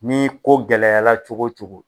Nii ko gɛlɛla cogo cogo